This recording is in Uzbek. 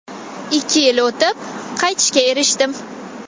Ikki yil o‘tib qaytishga erishdim.